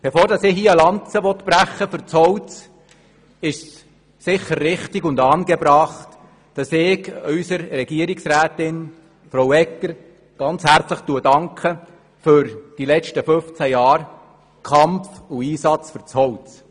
Bevor ich hier eine Lanze fürs Holz brechen will, ist es sicher richtig und angebracht, dass ich unserer Regierungsrätin Frau Egger ganz herzlich für die letzten 15 Jahre Kampf und Einsatz fürs Holz danke.